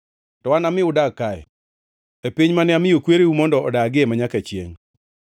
to anami udag kae, e piny mane amiyo kwereu mondo odagie manyaka chiengʼ.